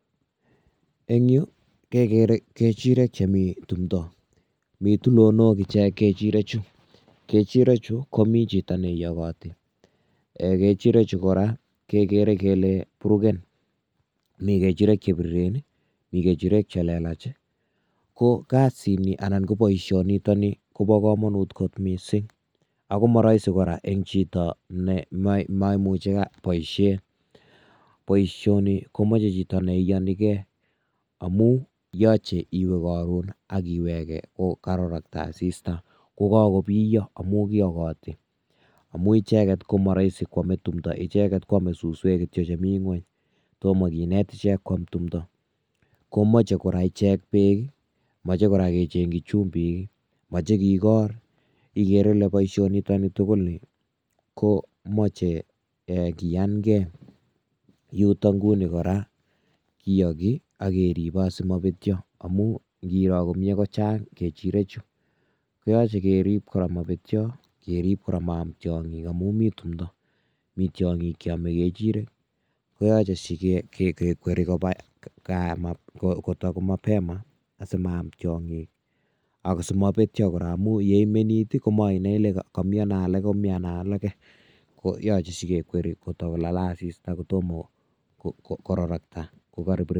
Eng Yu kekere kechirek che Mii tumdo Mii tulonok kechirek chu komii chito ne inyakoti ak ko kora kekere kele burugen Mii kechirek che biriren Mii che lelach ko kasini anan koboisonitok kobokomomut kot mising ak ko maraisi eng chito nee maimuchi boishet nii ko meche chito nee inyoni kee amuu nyache iwe karon ak iweke kokakororoko asista kokakobiyo amuu icheket ko amee suswek che Mii ingony tomo kenet ichek kokam tumdo komoche kora ichek beek mechekora kee Chechi chumbik meche kikor igere ile boisoni komechei kinyankee yuu tok kora kinyaki ak keribee asi mabetyo ingor komie kochang kechirek chu koyache kerib mabetyo amaam tianyik eng tumdo mitei tiang'ik che ame kechirek koyache kekweri koba gaa kotomapema asi ma'am tiang'ik ako si mabetyo amubetun kole aniano alake koyache kekweri mapema